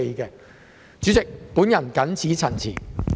代理主席，我謹此陳辭。